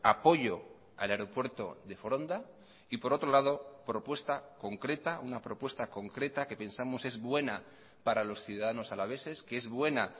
apoyo al aeropuerto de foronda y por otro lado propuesta concreta una propuesta concreta que pensamos es buena para los ciudadanos alaveses que es buena